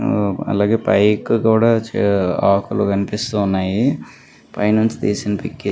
అలాగే పైకి కూడా ఆకులు కనిపిస్తున్నాయ్. పై నుంచి తీసిన చిత్రం.